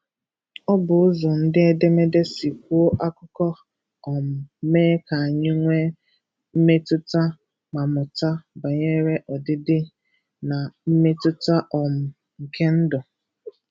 Ọ bụ ụzọ ndị edemede si kwuo akụkọ, um mee ka anyị nwee mmetụta, ma mụta banyere ọdịdị na mmetụta um nke ndụ.